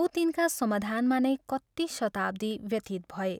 औ तिनका समाधानमा नै कति शताब्दी व्यतीत भए।